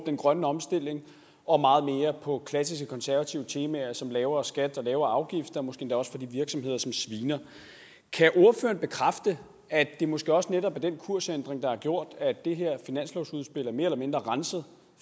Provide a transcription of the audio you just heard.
den grønne omstilling og meget mere på klassiske konservative temaer som lavere skatter og lavere afgifter måske endda også for de virksomheder som sviner kan ordføreren bekræfte at det måske også netop er den kursændring der har gjort at det her finanslovsudspil er mere eller mindre renset